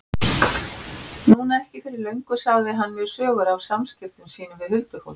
Núna ekki fyrir löngu sagði hann mér sögur af samskiptum sínum við huldufólkið.